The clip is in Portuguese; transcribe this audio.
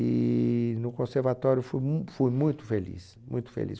E no conservatório fui mu fui muito feliz, muito feliz.